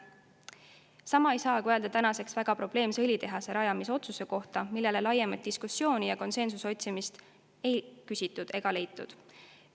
Sama ei saa aga öelda tänaseks väga probleemse õlitehase rajamise otsuse kohta, mille üle laiemat diskussiooni ei peetud ja konsensust ei otsitud ega leitud.